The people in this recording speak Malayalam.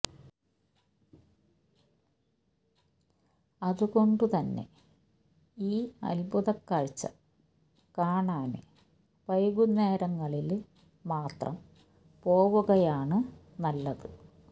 അതുകൊണ്ടു തന്നെ ഈ അത്ഭുതക്കാഴ്ച്ച കാണാന് വൈകുന്നേരങ്ങളില് മാത്രം പോവുകയാണ് നല്ലത്